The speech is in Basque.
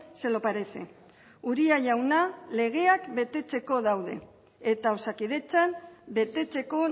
se lo parece uria jauna legeak betetzeko daude eta osakidetzan betetzeko